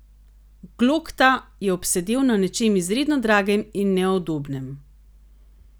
Glokta je obsedel na nečem izredno dragem in neudobnem.